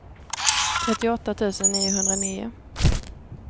trettioåtta tusen niohundranio